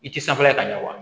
I ti sanfɛ ka ɲa wa